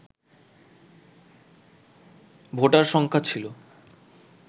voter সংখ্যা ছিল